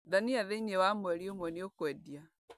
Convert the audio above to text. Ndania thĩiniĩ wa mweri ũmwe nĩukendia.